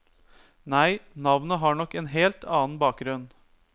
Nei, navnet har nok en helt annen bakgrunn.